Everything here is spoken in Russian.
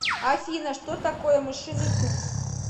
афина что такое мышиный туз